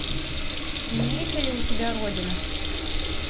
имеется ли у тебя родина